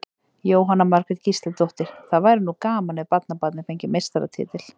Jóhanna Margrét Gísladóttir: Og það væri nú gaman ef barnabarnið fengi meistaratitil?